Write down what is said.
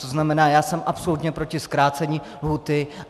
To znamená, já jsem absolutně proti zkrácení lhůty.